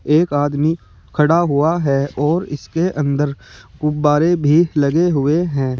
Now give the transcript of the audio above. एक आदमी खड़ा हुआ है और इसके अंदर गुब्बारे भी लगे हुए हैं।